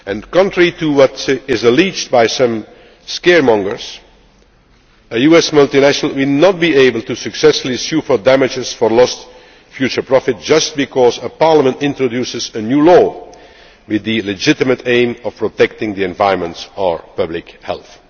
preserved. Contrary to what is alleged by some scaremongers, a US multinational will not be able to successfully sue for damages for lost future profit just because a parliament introduces a new law with the legitimate aim of protecting the environment or